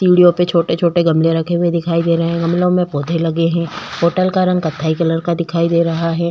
सीढ़ियों में छोटे-छोटे गमले रखे हुए दिखाई दे रहे हैं गमलों में पौधे लगे हुए हैं होटल का रंग कत्थई कलर का दिखाई दे रहा है।